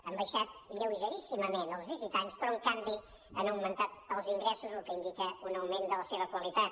han baixat lleugeríssimament els visitants però en canvi han augmentat els ingressos cosa que indica un augment de la seva qualitat